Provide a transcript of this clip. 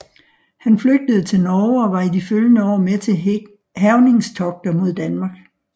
Han flygtede til Norge og var i de følgende år med til hærgningstogter mod Danmark